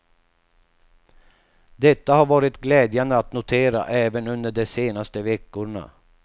Detta har varit glädjande att notera även under de senaste veckorna.